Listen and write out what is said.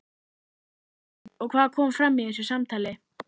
Höskuldur: Og hvað kom fram í þessu samtali?